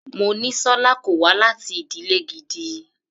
Monísọ́lá kò wá láti ìdílè gidi.